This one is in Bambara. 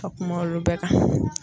Ka kuma olu bɛɛ kan.